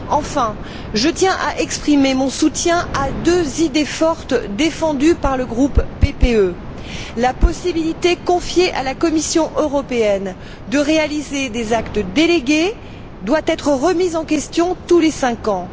Enfin, je tiens à exprimer mon soutien à deux idées fortes défendues par le groupe PPE la possibilité confiée à la Commission européenne d'adopter des actes délégués doit être remise en question tous les cinq ans.